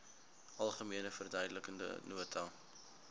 algemene verduidelikende nota